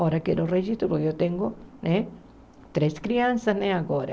Agora, quero registro, porque eu tenho né três crianças né agora.